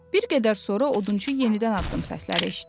Bir qədər sonra odunçu yenidən addım səsləri eşitdi.